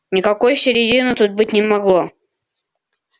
никакой середины тут быть не могло